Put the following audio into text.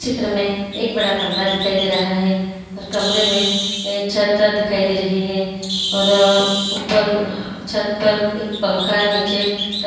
चित्र में एक बड़ा कमरा दिखाई दे रहा है और कमरे में छ्ता दिखाई दे रही है और ऊपर छत पर एक पंखा नीचे टन--